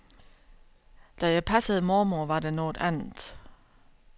Da jeg passede mormor, var det noget andet.